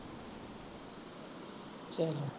ਚੱਲ